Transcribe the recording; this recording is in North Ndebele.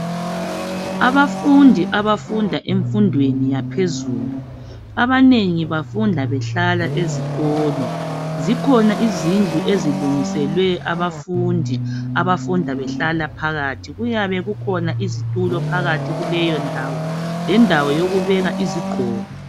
Abafundi abafunda emfundweni yaphezulu abanengi bafunda behlala ezikolo zikhona izindlu ezilungiselwe abafundi abafunda behlala phakathi kuyabe kukhona izitulo phakathi kuleyo ndawo lendawo yokubeka izigqoko.